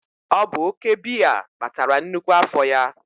ọ bụ oke biya kpatara nnukwu afọ ya